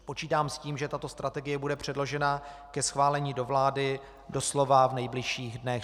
Počítám s tím, že tato strategie bude předložena ke schválení do vlády doslova v nejbližších dnech.